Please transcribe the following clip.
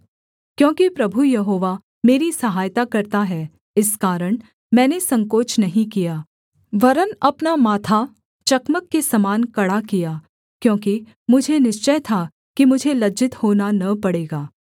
क्योंकि प्रभु यहोवा मेरी सहायता करता है इस कारण मैंने संकोच नहीं किया वरन् अपना माथा चकमक के समान कड़ा किया क्योंकि मुझे निश्चय था कि मुझे लज्जित होना न पड़ेगा